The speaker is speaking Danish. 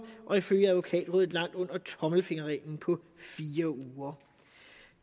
ifølge advokatrådet langt under tommelfingerreglen på fire uger